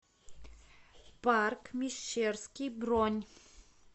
парк мещерский бронь